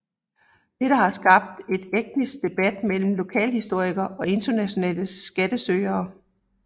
Dette har skabt en etisk debat mellem lokalhistorikere og internationale skattesøgere